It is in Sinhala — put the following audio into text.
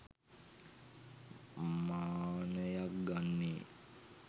මානයක් ගන්නේ.